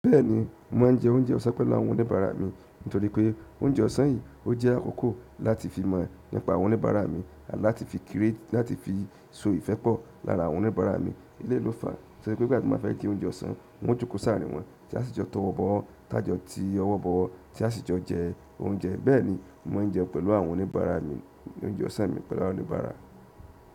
Bẹ́ẹ̀ni, mo máa ń jẹ oúnjẹ ọ̀sán pẹ̀lú àwọn oníbàárà mi nítorí pé oúnjẹ ọ̀sán yìí, ó jẹ́ àkókò láti fi mọ̀ nípa àwọn oníbàárà mi àti láti fi kéré láti fi so ìfẹ́ pọ̀ lára àwọn oníbàárà mi. Eléyi ló fàá, torí pé ìgbà tí mo ba fẹ́ je oúnjẹ ọ̀sán, wọ́n jókòó sàárìnwọ́, tí a sì jọ tọwọ́ bọ̀ wọ́, tájọ tí ọwọ́ bọ̀wọ́, tí a sì jọ jẹ oúnjẹ. Bẹ́ẹ̀ ni mo mo ń jẹun pẹ̀lú àwọn oníbàárà mi oúnjẹ ọ̀sán mi pẹ̀lú àwọn oníbàárà.